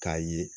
K'a ye